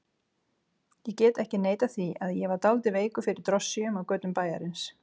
Ég get ekki neitað því að ég var dálítið veikur fyrir drossíunum á götum bæjarins.